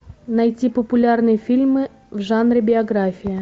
найти популярные фильмы в жанре биография